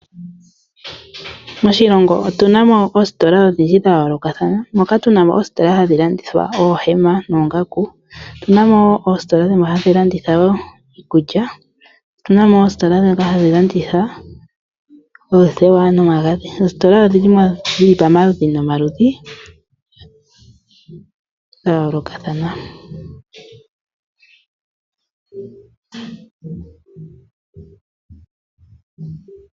Moshilongo otuna mo oositola odhindji dha yoolokathana moka tuna mo oositola hadhi landithwa oohema noongaku. Otuna mo woo oositola dhimwe hadhi landitha woo iikulya. Otuna mo oositola ndhoka hadhi landitha oothewa nomagadhi. Oositola odhili mo dhili pamaludhi nomaludhi dha yoolokathana.